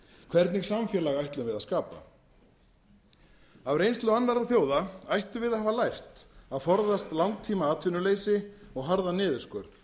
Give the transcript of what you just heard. hvernig samfélag ætlum við að skapa af reynslu annarra þjóða ættum við að hafa lært að forðast langtímaatvinnuleysi og harðan niðurskurð